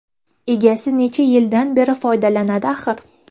Egasi necha yildan beri foydalanadi axir.